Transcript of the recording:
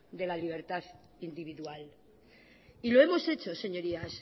de la libertad individual y lo hemos hecho señorías